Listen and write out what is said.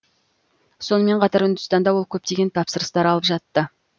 сонымен қатар үндістанда ол көптеген тапсырыс алып жатты